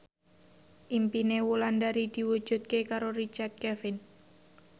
impine Wulandari diwujudke karo Richard Kevin